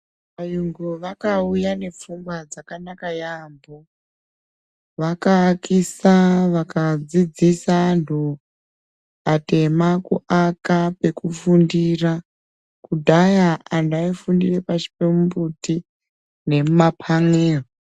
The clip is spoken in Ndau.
Vayungu vaka uya ne pfungwa dzakanaka yambo vaka akisa vaka dzidzisa antu atema ku aka kweku fundira kudhaya antu ayi fundire pashi pe mumbuti nemu mapanera.